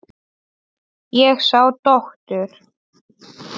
Ég sá dóttur.